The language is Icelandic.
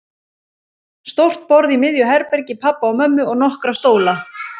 Stórt borð í miðju herbergi pabba og mömmu og nokkra stóla.